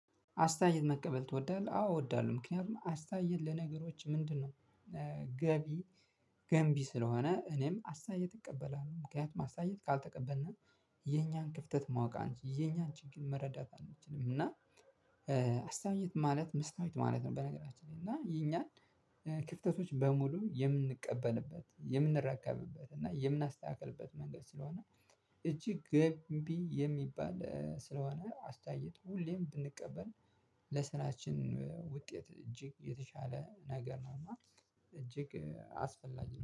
አስተያየት መቀበል ትወዳለህ? አዎ እወዳለሁ። ምክንያቱም አስተያየት ለነገሮች ምንድነው ገቢ ገንቢ ስለሆነ እኔም አስተያየት እቀበላለሁ። ምክንያት አስተያየት ካልተቀበልንም የኛን ክፍተት ማወቅ አንችልም። የኛን ችግር መረዳት አንችልም እና አስተያየት ማለት መስታወት ማለት ነው። በነገራችን ላይ እና የኛን ክፍተቶች በሙሉ የምንቀበልበት፣ የምንረከብበት እና የምናስተካክልበት መንገድ ስለሆነ እጅግ ገንቢ የሚባል ስለሆነ አስተያየት ሁሌም ብንቀበል ለስራችን ውጤት እጅግ የተሻለ ነገር ነውና እጅግ አስፈላጊ ነው።